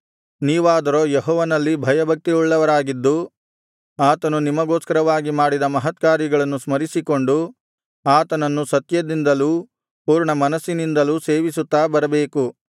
ನೀವಾದರೋ ಯೆಹೋವನಲ್ಲಿ ಭಯಭಕ್ತಿಯುಳ್ಳವರಾಗಿದ್ದು ಆತನು ನಿಮಗೋಸ್ಕರವಾಗಿ ಮಾಡಿದ ಮಹತ್ಕಾರ್ಯಗಳನ್ನು ಸ್ಮರಿಸಿಕೊಂಡು ಆತನನ್ನು ಸತ್ಯದಿಂದಲೂ ಪೂರ್ಣಮನಸ್ಸಿನಿಂದಲೂ ಸೇವಿಸುತ್ತಾ ಬರಬೇಕು